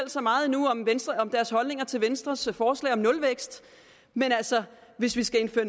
så meget om deres holdning til venstres forslag til nulvækst men hvis vi skal indføre